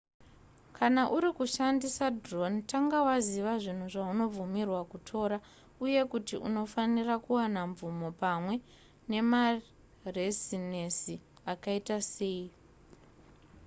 kana uri kushandisa drone tanga waziva zvinhu zvaunobvumirwa kutora uye kuti unofanira kuwana mvumo pamwe nemarezinesi akaita sei